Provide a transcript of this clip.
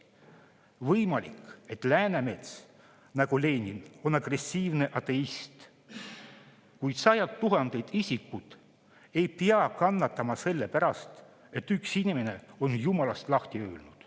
Võimalik, et Läänemets on nagu Leningi agressiivne ateist, kuid sajad tuhanded isikud ei pea kannatama selle pärast, et üks inimene on jumalast lahti öelnud.